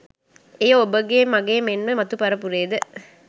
එය ඔබගේ මගේ මෙන්ම මතු පරපුරේද